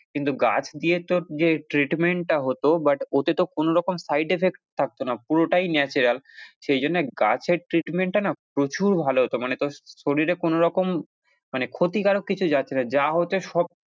কিন্তু গাছ দিয়ে তোর যে treatment টা হতো but ওতে তো কোনোরকম side effect থাকতো না পুরোটাই natural সেইজন্যে গাছের treatment টা না প্রচুর ভালো হতো মানে তোর শরীরে কোনোরকম মানে ক্ষতিকারক কিছু যাচ্ছে না যা হচ্ছে সব।